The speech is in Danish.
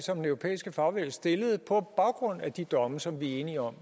den europæiske fagbevægelse stillede på baggrund af de domme som vi er enige om